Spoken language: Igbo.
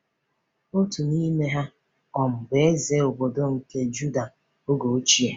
Otu n’ime ha um bụ Eze Obidi nke Juda oge ochie.